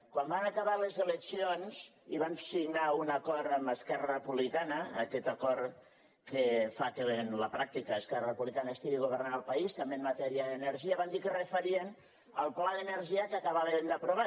quan van acabar les eleccions i van signar un acord amb esquerra republicana aquest acord que fa que en la pràctica esquerra republicana estigui governant el país també en matèria d’energia van dir que referien el pla d’energia que acabaven d’aprovar